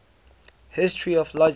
history of logic